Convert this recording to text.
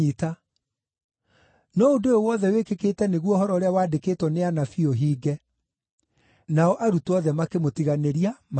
No ũndũ ũyũ wothe wĩkĩkĩĩte nĩguo ũhoro ũrĩa waandĩkĩtwo nĩ anabii ũhinge.” Nao arutwo othe makĩmũtiganĩria, makĩũra.